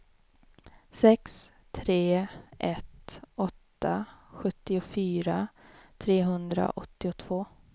sex tre ett åtta sjuttiofyra trehundraåttiotvå